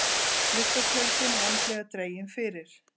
Gluggatjöldin vandlega dregin fyrir.